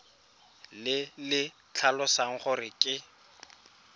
le le tlhalosang gore ke